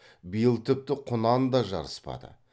биыл тіпті құнан да жарыспады